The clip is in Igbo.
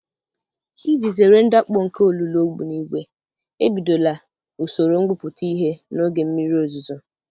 Iji zere ndakpọ nke olulu ogbunigwe, ebidola usoro ngwuputa ihe n'oge mmiri ozuzo.